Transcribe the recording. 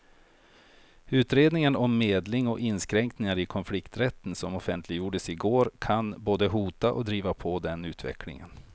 Utredningen om medling och inskränkningar i konflikträtten som offentliggjordes i går kan både hota och driva på den utvecklingen.